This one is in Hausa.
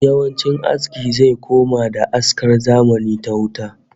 Yawancin aski zai koma da askar zamani ta wuta